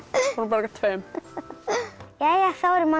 tveim þá eru